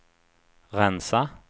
rensa